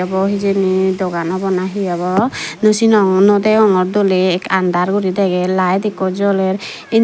he ebo hijeni dokan obo na he obo naw senongor nw degongor doly under guri degey light ekko joler